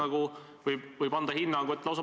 Aga võib-olla ei ole mõistlik minna üksikjuhtumite juurde.